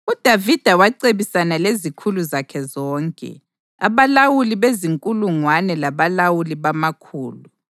UDavida wacebisana lezikhulu zakhe zonke, abalawuli bezinkulungwane labalawuli bamakhulu.